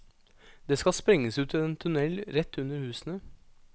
Det skal sprenges ut en tunnel rett under husene.